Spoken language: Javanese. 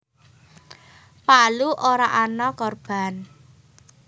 Palu ora ana korban